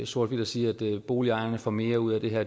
sort hvidt at sige at boligejerne får mere ud af det her